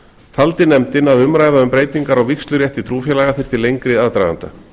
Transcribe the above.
taldi nefndin að umræða um breytingar á vígslurétti trúfélaga þyrfti lengri aðdraganda